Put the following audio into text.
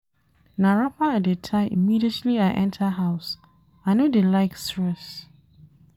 Na wrapper I dey tie immediately I enta house, I no dey like stress.